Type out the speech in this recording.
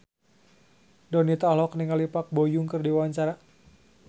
Donita olohok ningali Park Bo Yung keur diwawancara